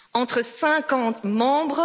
entre 50 membres.